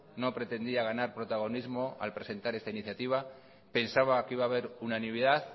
no pretendía ganar protagonismo al presentar esta iniciativa pensaba que iba a haber unanimidad